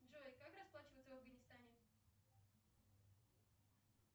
джой как расплачиваться в афганистане